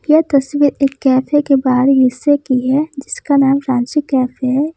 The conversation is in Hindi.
यह तस्वीर एक कैफे के बाहरी हिस्से की है जिसका नाम रांची कैफे हैं।